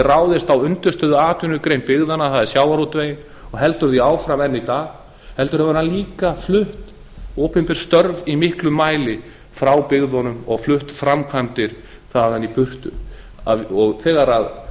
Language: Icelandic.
ráðist á undirstöðuatvinnugrein byggðanna það er sjávarútveginn og heldur því áfram enn í dag heldur hefur hann líka flutt opinber störf í miklum mæli frá byggðunum og flutt framkvæmdir þaðan í burtu þegar